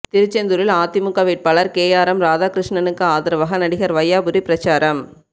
திருச்செந்தூரில் அதிமுக வேட்பாளர் கேஆர்எம் ராதாகிருஷ்ணனுக்கு ஆதரவாக நடிகர் வையாபுரி பிரசாரம்